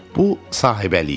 Bu Sahibəli idi.